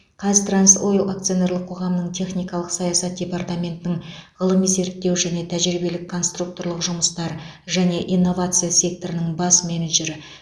қазтрансойл акционерлік қоғамының техникалық саясат департаментінің ғылыми зерттеу және тәжірибелік конструкторлық жұмыстар және инновация секторының бас менеджері